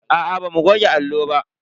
Aa bamu goge allo ba.